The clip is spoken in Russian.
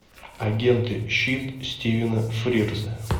агенты щит стивена фрирза